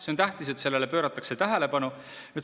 See on tähtis, et sellele pööratakse tähelepanu.